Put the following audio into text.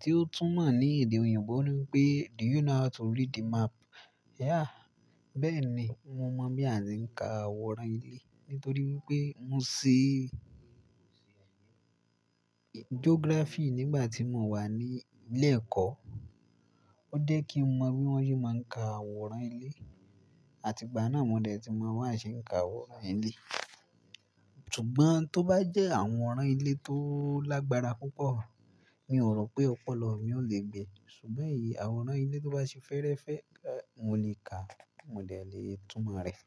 Tí ó tún mọ̀ ní èdè òyìnbó ní pé "Do you know how to read the map?" bẹ́ẹ̀ni, mo mọ bí a ti ń ka àwòrán ilé, nítorí wípé mo ṣe geography nígbà tí mo wà ní ilé ẹ̀kọ́. Ó jẹ́ kí mọ bi wọ́n se máa ń ka àwòrán ilé, àti ìgbà náà mo dẹ̀ ti mọ̀ bí wọ́n ṣe ń ka àwòrán ilé. Ṣùgbọ́n tó bá jẹ́ àwòrán ilé tó lágbára púpọ̀, mi ò rò pé ọ̀pọ̀lọpọ̀ mi ò le gbe. Ṣùgbọ́n èyí àwòrán ilé tó bá ṣe fẹ́rẹ́fẹ́, mo lè kàá, mo dè lè túmọ̀ rẹ̀.